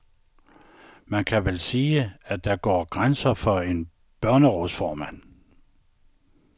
Man kan vel sige, at der går grænsen for en børnerådsformand.